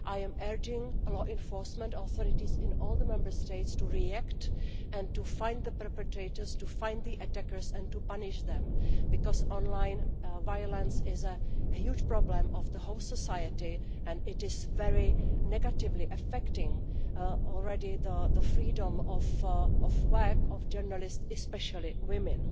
I am urging law enforcement authorities in all the Member States to react and to find the perpetrators, to find the attackers and to punish them, because online violence is a huge problem for the whole of society and is already very negatively affecting the freedom of work of journalists especially women.